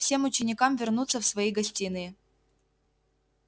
всем ученикам вернуться в свои гостиные